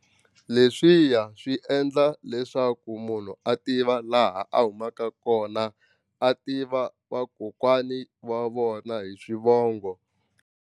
Leswiya swi endla leswaku munhu a tiva laha a humaka kona a tiva vakokwani va vona hi swivongo.